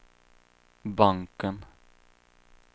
banken